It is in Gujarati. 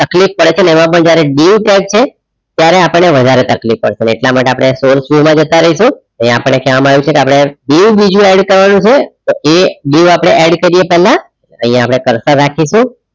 તકલીફ પડે એવામાં જ્યારે dieu tag છે ત્યારે આપણને વધારે તકલીફ પડશે એટલા માટે આપણે source view માં જતા રહીશું આપણે કહેવામાં આવે છે કે આપણે dieu બીજુ add કરવાનું છે એ dieu આપણે add કરીએ એ પહેલા અહીંયા આપણે curser રાખીશું.